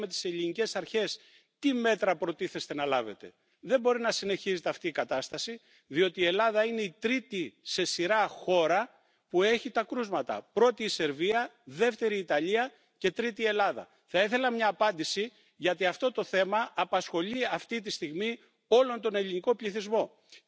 Herr Präsident! Noch einmal ein herzliches Dankeschön an den Herrn Kommissar und an alle Kolleginnen und Kollegen, die heute hier so klargemacht haben, dass wir es mit einem Thema zu tun haben, das wirklich eine Bedrohung für die Gesundheit der Europäerinnen und Europäer ist, das in diesem Zusammenhang auch eine Bedrohung für den Wirtschaftsstandort Europa ist. Es tut mir nur leid, dass die Vertreterin der österreichischen Ratspräsidentschaft